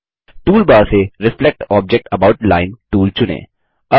toolbar से reflect object about line tool चुनें